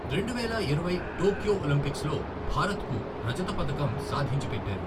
రెండువేల ఇరవై Tokyo Olympics లో భారత్కు రజత పతకం సాధించి పెట్టారు.